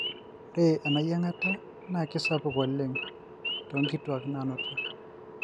ore ena yiangata na kisapuk oleng to nkituak nanuta.